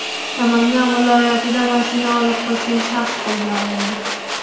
Namangan viloyatida mashina olib qochgan shaxs qo‘lga olindi.